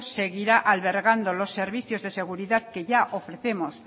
seguirá albergando los servicios de seguridad que ya ofrecemos